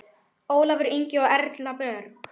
Ólafur Ingi og Erna Björg.